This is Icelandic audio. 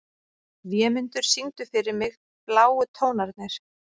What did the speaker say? Vémundur, syngdu fyrir mig „Bláu tónarnir“.